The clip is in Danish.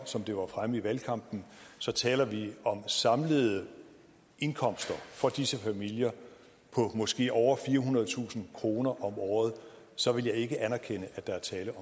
som det var fremme i valgkampen så taler vi om samlede indkomster for disse familier på måske over firehundredetusind kroner om året så vil jeg ikke anerkende at der er tale